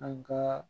An ka